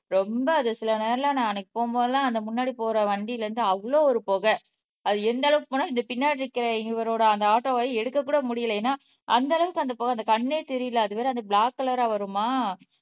ரொம்ப அது சில நேரமெல்லாம் நான் அன்னைக்கு போகும் போதெல்லாம் அந்த முன்னாடி போற வண்டியில இருந்து அவ்வளவு ஒரு புகை அது எந்த அளவுக்கு போனா இந்த பின்னாடி இருக்கிற இவரோட அந்த ஆட்டோவை எடுக்கக்கூட முடியலை ஏன்னா அந்த அளவுக்கு அந்த புகை அந்த கண்ணே தெரியல அதுவேற அந்த பிளாக் கலரா வருமா